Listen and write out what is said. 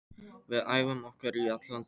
Við æfum okkur í allan dag.